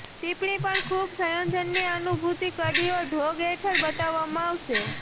ટિપ્પણી પણ ખૂબ સંયોજનની અનુભૂતિ કડીઓ ઢોંગ હેઠળ બતાવવામાં આવશે